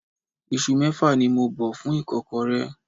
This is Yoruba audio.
Isu mẹ́fà ni mo bẹ fún ìkọ́kọrẹ́.